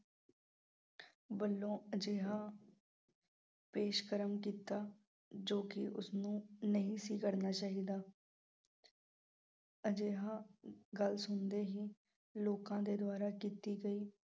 ਵੱਲੋਂ ਅਜਿਹਾ ਪੇਸ਼ਕਰਮ ਕੀਤਾ ਜੋ ਕਿ ਉਸਨੂੰ ਨਹੀਂ ਸੀ ਕਰਨਾ ਚਾਹੀਦਾ। ਅਜਿਹਾ ਗੱਲ ਸੁਣਦੇ ਹੀ ਲੋਕਾਂ ਦੇ ਦੁਆਰਾ ਕੀਤੀ ਗਈ।